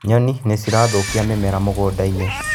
Nyoni nĩcirathũkia mĩmera mũgũnda-inĩ.